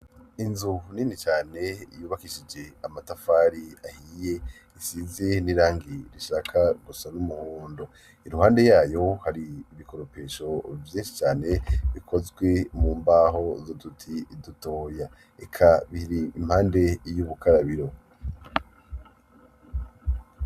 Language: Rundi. Inzu nini cane yubakishije amatafari ahiye, isize n'irangi rishaka gusa n'umuhondo. Iruhande yayo hari ibikoropesho vyinshi cane bikozwe mu mbaho z'uduti dutoya, eka biri impande y'ubukarabiro.